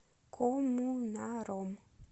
коммунаром